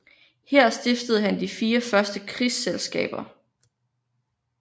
Her stiftede han de fire første krigerselskaber